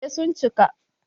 Eh sun cika